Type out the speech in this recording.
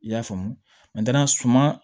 I y'a faamu suman